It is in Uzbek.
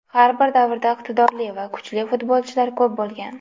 Har bir davrda iqtidorli va kuchli futbolchilar ko‘p bo‘lgan.